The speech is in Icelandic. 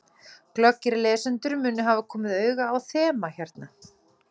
Glöggir lesendur munu hafa komið auga á þema hérna.